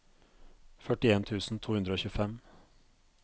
førtien tusen to hundre og tjuefem